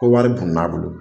Ko wari bunun'a bolo